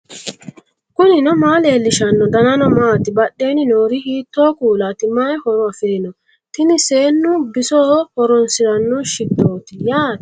knuni maa leellishanno ? danano maati ? badheenni noori hiitto kuulaati ? mayi horo afirino ? tini seennu bisoho horoonsiranno shittooti yaate